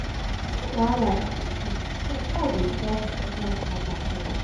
moni wahala no dey finish so try dey solve important mata first